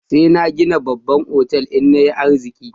Sai na gina babban otal in na yi arziki.